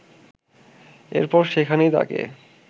এরপর সেখানেই তাকে